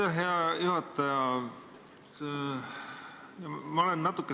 Aitäh, hea juhataja!